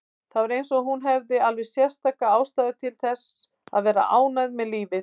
Það var eins og hún hefði alveg sérstaka ástæðu til að vera ánægð með lífið.